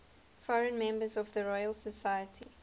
foreign members of the royal society